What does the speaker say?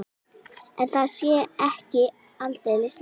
En það sé ekki aldeilis list.